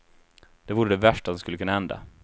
Det vore det värsta som skulle kunna hända.